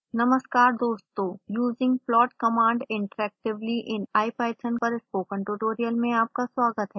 नमस्कार दोस्तों using plot command interactively in ipython पर स्पोकन ट्यूटोरियल में आपका स्वागत है